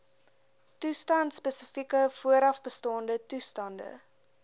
toestandspesifieke voorafbestaande toestande